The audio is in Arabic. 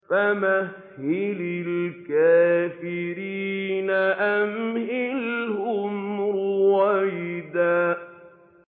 فَمَهِّلِ الْكَافِرِينَ أَمْهِلْهُمْ رُوَيْدًا